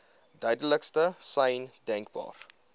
duidelikste sein denkbaar